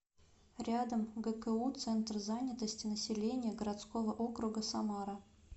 рядом гку центр занятости населения городского округа самара